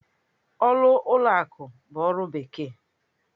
Ọrụ ụlọ akụ bụ ọrụ bekee.